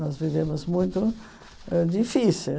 Nós vivemos muito ãh difícil.